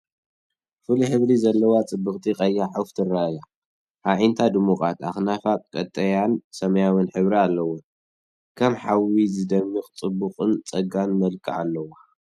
ፍሉይ ሕብሪ ዘለዋ ጽብቕቲ ቀያሕ ዑፍ ተራእያ። ኣዒንታ ድሙቓት፡ ኣኽናፋ ቀጠልያን ሰማያውን ሕብሪ ኣለወን። ከም ሓዊ ዝደምቕ ጽቡቕን ጸጋን መልክዕ ኣለዎ።